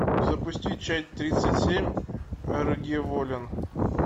запусти часть тридцать семь аргеволлен